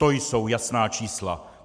To jsou jasná čísla.